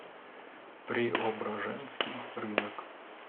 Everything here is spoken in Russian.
преображенский рынок